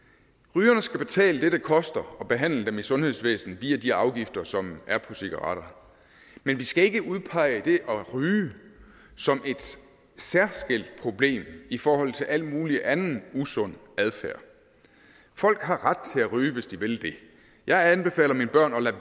rygerne skal betale det det koster at behandle dem i sundhedsvæsenet via de afgifter som er på cigaretter men vi skal ikke udpege det at ryge som et særskilt problem i forhold til al mulig anden usund adfærd folk har ret til ryge hvis de vil det jeg anbefaler mine børn at lade